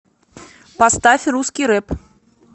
поставь русский рэп